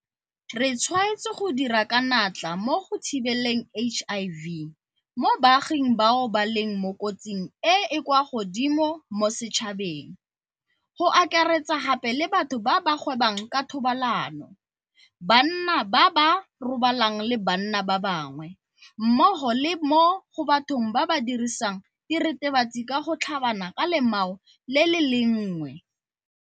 Re tshwaetse go dira ka natla mo go thibeleng HIV mo baaging bao ba leng mo kotsing e e kwa godimo mo setšhabeng, go akaretsa gape le batho ba ba gwebang ka thobalano, banna [, ba ba robalanang le banna ba bangwe, mmogo le mo bathong ba ba dirisang diritibatsi ka gotlhabana ka lemao le le lengwe.